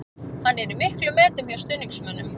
Hann er í miklum metum hjá stuðningsmönnum.